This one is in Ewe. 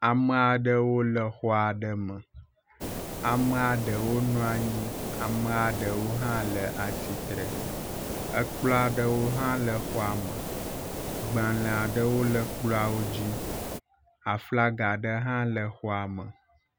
Amea ɖewo le xɔ aɖe me, amea ɖewo nɔ anyi, amea ɖewo hã tsatsitre. Ekplɔ aɖewo hã le xɔa me, gbalẽa aɖewo le kplɔawo dzi. Aflaga aɖe hã le xɔa me.